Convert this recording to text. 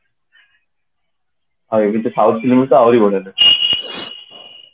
ଆଉ ଏମିତି south movie ତ ଆହୁରି ବଡିଆ ଲାଗେ